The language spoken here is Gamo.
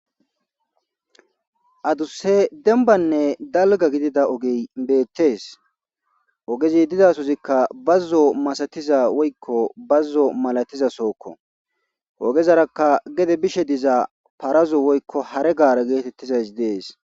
Aadusse denbanne dalga gidida ogey beettees ogezi didasozikka bazzo masatiza woykko bazzo malatiza sookko ogezarakka gede bishe diza parazo woykko hare gaare geetettizays dees.